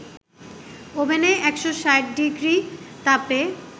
ওভেনে ১৬০ ডিগ্রি তাপে